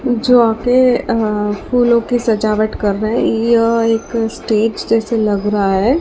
जो आके अ फूलों की सजावट कर रहे यह एक स्टेज जैसे लग रहा है।